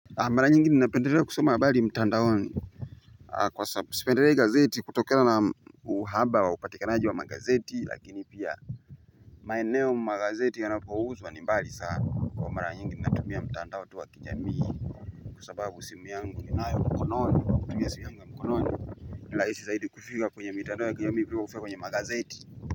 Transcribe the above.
Mara nyingi napendelea kusoma habari mtandaoni kwa sababu sipendelei gazeti kutokana na uhaba wa upatikanaji wa magazeti, lakini pia maeneo magazeti yanapouzwa ni mbali sana, na mara nyingi natumia mitandao ya kijamii. Kwa sababu simu yangu ninayo mkononi, kutumia simu yangu ya mkononi. Ni rahisi zaidi kufika kwenye mitandao ya kijamii kuliko kufika kwenye magazeti.